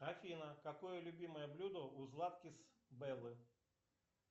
афина какое любимое блюдо у златкис беллы